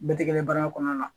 Bɛɛ tɛ kɛ baara kɔnɔna na